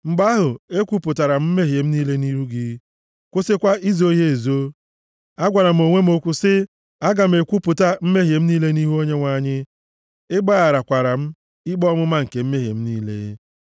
Mgbe ahụ, ekwupụtara m mmehie m niile nʼihu gị, kwụsịkwa izo ha ezo. Agwara m onwe m okwu sị, “Aga m ekwupụta mmehie m niile nʼihu Onyenwe anyị.” Ị gbaghakwaara m ikpe ọmụma nke mmehie m niile. Sela